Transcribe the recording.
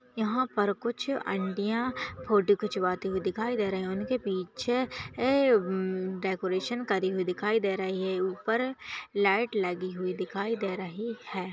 यहा पर कुछ ऑंटीया फोटो खिंचवाती हुई दिखाई दे रही उनके पीछे ए म्म डेकोरेशन करी हुई दिखाई दे रही है ऊपर लाइट लगी हुई दिखाई दे रही है।